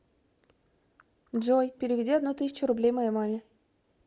джой переведи одну тысячу рублей моей маме